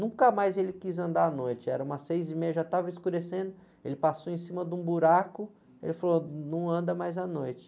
Nunca mais ele quis andar à noite, era umas seis e meia, já estava escurecendo, ele passou em cima de um buraco, ele falou, ah, não anda mais à noite.